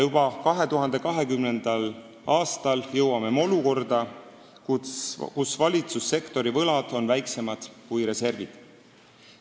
Juba 2020. aastal jõuame me olukorda, kus valitsussektori võlad on väiksemad kui reservid.